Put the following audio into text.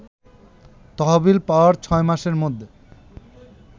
তহবিল পাওয়ার ৬ মাসের মধ্যে